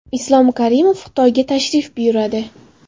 Islom Karimov Xitoyga tashrif buyuradi.